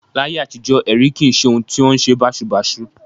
Láyé àtijọ́, ẹ̀rí kì í ṣe ohun tí ó wọn ṣe báṣubàṣu